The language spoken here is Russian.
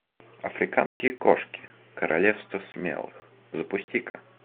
африканские кошки королевство смелых запусти ка